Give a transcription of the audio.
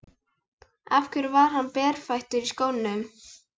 Af hverju var hann berfættur í skónum?